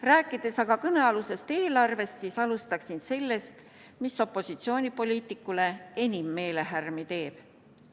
Rääkides aga kõnealusest eelarvest, siis alustaksin sellest, mis opositsioonipoliitikuile enim meelehärmi teeb.